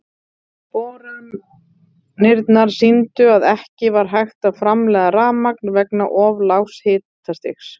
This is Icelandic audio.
Boranirnar sýndu að ekki var hægt að framleiða rafmagn vegna of lágs hitastigs.